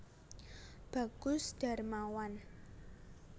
Bagus Darmawan